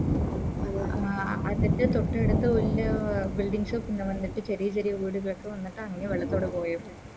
ആ അതിൻറെ തൊട്ടടുത്ത് വല്യ Building shop വന്നിട്ട് ചെറിയ ചെരിയ വീട് കൾക്ക് വന്നിട്ട് അങ്ങനെ വെള്ളത്തോടെ പോയോ